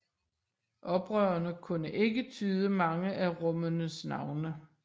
Oprørerne kunne ikke tyde mange af rummenes navne